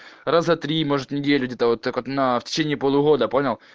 разотри может неделю где-то вот так она в течение полугода понял